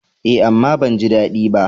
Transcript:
Eh, amma ban ji daɗi ba.